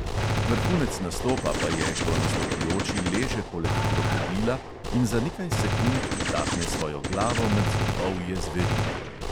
Vrhunec nastopa pa je, ko nastopajoči leže poleg krokodila in za nekaj sekund vtakne svojo glavo med zobovje zverine.